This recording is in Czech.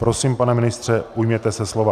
Prosím, pane ministře, ujměte se slova.